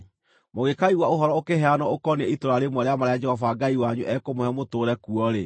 Mũngĩkaigua ũhoro ũkĩheanwo ũkoniĩ itũũra rĩmwe rĩa marĩa Jehova Ngai wanyu ekũmũhe mũtũũre kuo-rĩ,